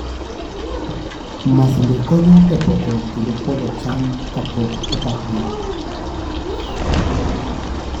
Masinde konyo e pogo kendo pwodho cham kapok opakgi.